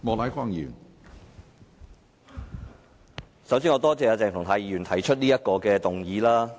首先，我要多謝鄭松泰議員提出這項議案。